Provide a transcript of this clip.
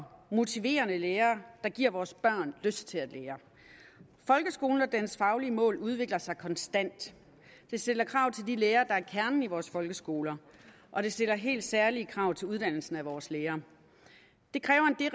motiverende lærere der giver vores børn lyst til at lære folkeskolen og dens faglige mål udvikler sig konstant det stiller krav til de lærere der er kernen i vores folkeskoler og det stiller helt særlige krav til uddannelsen af vores lærere det kræver en